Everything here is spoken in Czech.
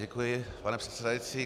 Děkuji, pane předsedající.